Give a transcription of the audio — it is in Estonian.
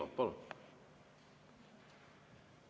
Palun!